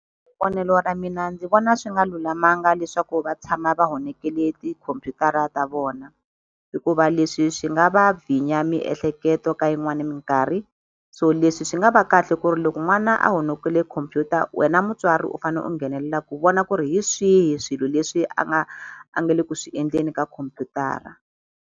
Vonelo ra mina ndzi vona swi nga lulamanga leswaku va tshama va honekerile tikhompyutara ta vona. Hikuva leswi swi nga va vhinya miehleketo ka yin'wani minkarhi. So leswi swi nga va kahle ku ri loko n'wana a honokerile computer wena mutswari u fanele u nghenelela ku vona ku ri hi swihi swilo leswi a nga a nga le ku swi endleni ka khompyutara.